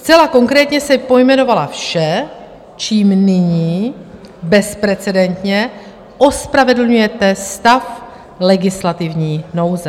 Zcela konkrétně jsem pojmenovala vše, čím nyní bezprecedentně ospravedlňujete stav legislativní nouze.